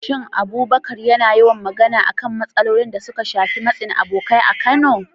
Shin Abubakar yana yawan magana akan matsalolin da suka shafi matsin abokai a Kano?